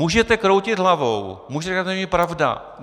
Můžete kroutit hlavou, můžete říkat, že to není pravda.